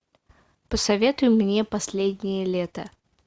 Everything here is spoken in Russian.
посоветуй мне последнее лето